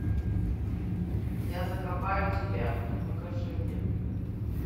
я закопаю тебя покажи мне